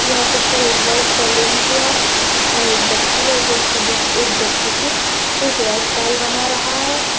यह पिक्चर एक boys salon की है जिसमें एक व्यक्ति है जो की दूस एक व्यक्ति की हेयर स्टाइल बना रहा है।